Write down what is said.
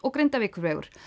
Grindavíkurvegur